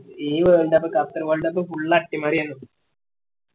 ഈ world cup Qatar world cup full അട്ടിമറിയനു